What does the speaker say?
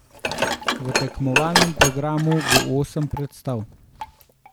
V tekmovalnem programu bo osem predstav.